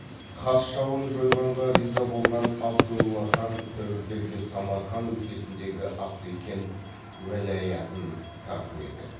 қас жауын жойғанға риза болған абдолла хан тәуекелге самарқан өлкесіндегі африкент уәлаятын тарту етеді